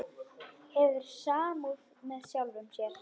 Hefur samúð með sjálfum sér.